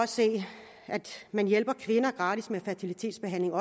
se at man hjælper kvinder gratis med fertilitetsbehandling